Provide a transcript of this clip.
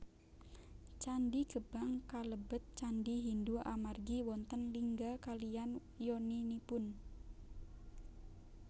Candhi Gebang kalebet candhi Hindu amargi wonten lingga kaliyan yoninipun